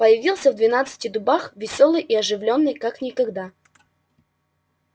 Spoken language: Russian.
появиться в двенадцати дубах весёлой и оживлённой как никогда